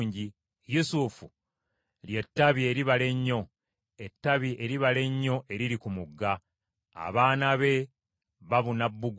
Yusufu lye ttabi eribala ennyo, ettabi eribala ennyo eriri ku mugga; abaana be babuna bbugwe.